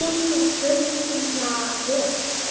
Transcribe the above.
Hitið pönnuna vel.